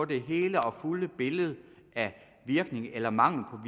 det hele og fulde billede af virkningen eller mangelen